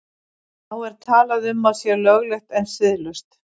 Þá er talað um að sé löglegt en siðlaust.